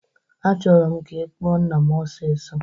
Achọrọ m ka ị kpụọ nna m osisọ!